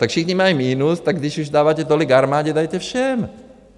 Tak všichni mají minus, tak když už dáváte tolik armádě, dejte všem.